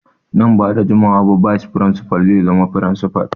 Nan ba da jimawa ba bayis firinsifal zai zama firinsifal.